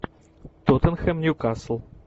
тоттенхэм ньюкасл